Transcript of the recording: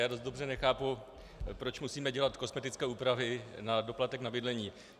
Já dost dobře nechápu, proč musíme dělat kosmetické úpravy na doplatek na bydlení.